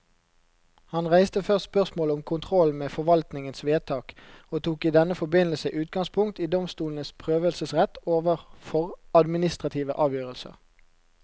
Han reiste først spørsmålet om kontrollen med forvaltningens vedtak, og tok i denne forbindelse utgangspunkt i domstolenes prøvelsesrett overfor administrative avgjørelser.